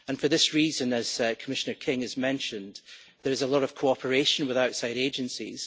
For this reason, as Commissioner King has mentioned, there is a lot of cooperation with outside agencies.